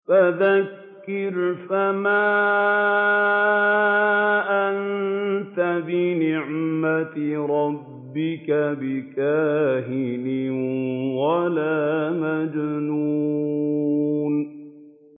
فَذَكِّرْ فَمَا أَنتَ بِنِعْمَتِ رَبِّكَ بِكَاهِنٍ وَلَا مَجْنُونٍ